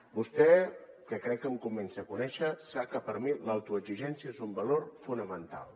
vostè que crec que em comença a conèixer sap que per mi l’autoexigència és un valor fonamental